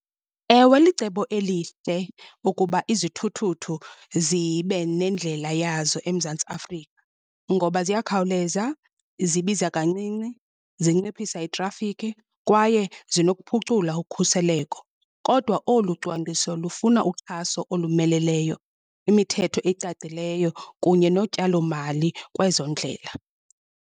Ewe, licebo elihle ukuba izithuthuthu zibe nendlela yazo eMzantsi Afrika. Ngoba ziyakhawuleza, zibiza kancinci, zinciphisa itrafikhi kwaye zinokuphucula ukhuseleko. Kodwa olu cwangciso lufuna uxhaso olumeleleyo, imithetho ecacileyo kunye notyalomali kwezondlela.